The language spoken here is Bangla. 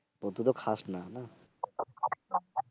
আহ তুই তো খাস না?